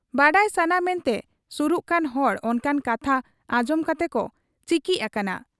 ᱵᱟᱰᱟᱭ ᱥᱟᱱᱟ ᱢᱮᱱᱛᱮ ᱥᱩᱨᱩᱜ ᱠᱟᱱ ᱦᱚᱲ ᱚᱱᱠᱟᱱ ᱠᱟᱛᱷᱟ ᱟᱸᱡᱚᱢ ᱠᱟᱛᱮᱠᱚ ᱪᱤᱠᱤᱡ ᱟᱠᱟᱱᱟ ᱾